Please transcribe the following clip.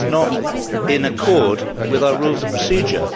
That is not in accordance with our Rules of Procedure.